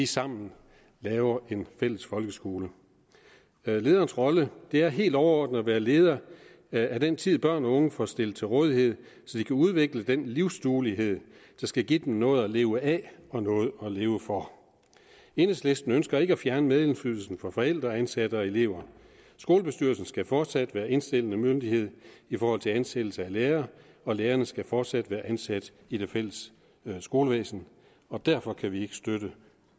sammen laver en fælles folkeskole lederens rolle er helt overordnet at være leder af den tid børn og unge får stillet til rådighed så de kan udvikle den livsduelighed der skal give dem noget at leve af og noget at leve for enhedslisten ønsker ikke at fjerne medindflydelsen for forældre ansatte og elever skolebestyrelsen skal fortsat være indstillende myndighed i forhold til ansættelse af lærere og lærerne skal fortsat være ansat i det fælles skolevæsen og derfor kan vi ikke støtte